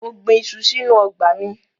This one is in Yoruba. Mo gbin iṣu sínú ọgbà mi.